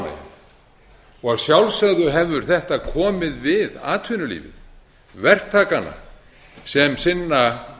og að sjálfsögðu hefur þetta komið við atvinnulífið verktakana sem sinna